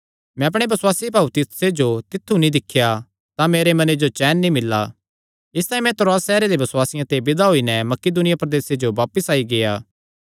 मैं अपणे बसुआसी भाऊ तीतुसे जो तित्थु नीं दिख्या तां मेरे मने जो चैन नीं मिल्ला इसतांई मैं त्रोआस सैहरे दे बसुआसियां ते विदा होई नैं मकिदुनिया प्रदेसे जो बापस आई गेआ